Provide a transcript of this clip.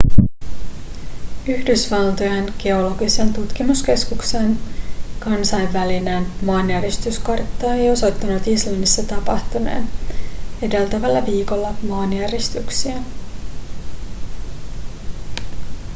yhdysvaltojen geologisen tutkimuskeskuksen kansainvälinen maanjäristyskartta ei osoittanut islannissa tapahtuneen edeltävällä viikolla maanjäristyksiä